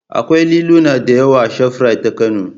Akwai liluna da yawa a shafrait ta Kano